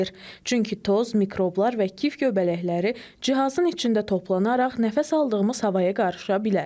Çünki toz, mikroblar və kif göbələkləri cihazın içində toplanaraq nəfəs aldığımız havaya qarışa bilər.